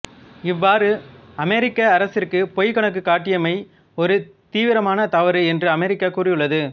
இவ்வாறு அமெரிக்க அரசிற்கு பொய்க் கணக்கு காட்டியமை ஒரு தீவிரமான தவறு என்று அமெரிக்கா கூறியுள்ளது